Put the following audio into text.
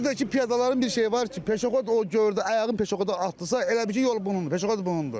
Bir də ki, piyadaların bir şeyi var ki, peşəxod o gördü ayağını peşəxoda atdısa, elə bil ki, yol bunundur, peşəxod bunundur.